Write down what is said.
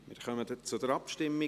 Wir kommen zur Abstimmung.